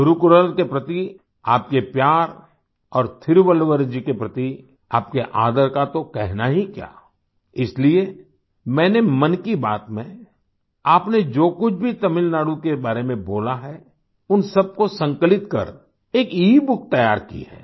तिरुक्कुरल के प्रति आपके प्यार और तिरुवल्लुवर जी के प्रति आपके आदर का तो कहना ही क्या इसलिए मैंने मन की बात में आपने जो कुछ भी तमिलनाडु के बारे में बोला है उन सबको संकलित कर एक ईबुक तैयार की है